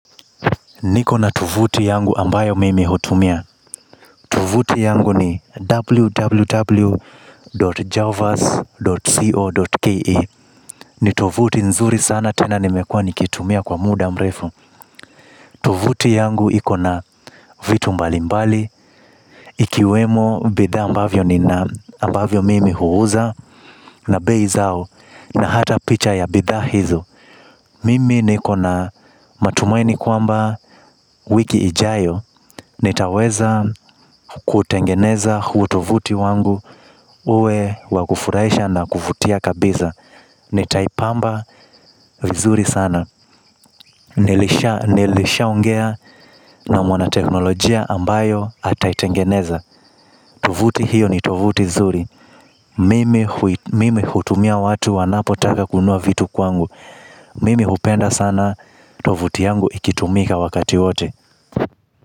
Nikona tovuti yangu ambayo mimi hutumia. Tovuti yangu ni www.javas.co.ke. Nitovuti nzuri sana tena nimekua nikiitumia kwa muda mrefu. Tovuti yangu ikona vitu mbali mbali. Ikiwemo bidhaa ambavyo nina ambavyo mimi huuza na beizao. Na hata picha ya bidhaa hizo. Mimi nikona matumaini kwamba wiki ijayo nitaweza kutengeneza hutovuti wangu uwe wakufurahisha na kuvutia kabisa. Nitaipamba vizuri sana. Nilishaa ongea na mwana teknolojia ambayo ataitengeneza. Tovuti hiyo ni tovuti nzuri. Mimi hutumia watu wanapo taka kununua vitu kwangu. Mimi hupenda sana tovuti yangu ikitumika wakati wote.